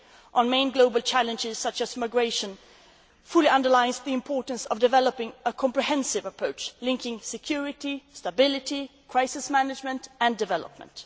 the EU. Our main global challenges, such as migration, fully underline the importance of developing a comprehensive approach linking security, stability, crisis management and development.